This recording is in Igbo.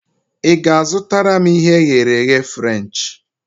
I ga-azụtara m ihe e ghere eghe Frenchi?